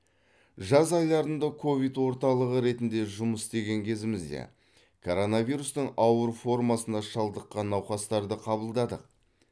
жаз айларында ковид орталығы ретінде жұмыс істеген кезімізде короновирустың ауыр формасына шалдыққан науқастарды қабылдадық